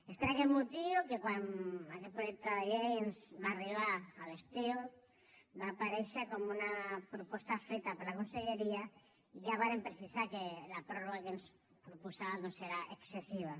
és per aquest motiu que quan aquest projecte de llei ens va arribar a l’estiu va aparèixer com una proposta feta per la conselleria ja vàrem precisar que la pròrroga que ens proposava era excessiva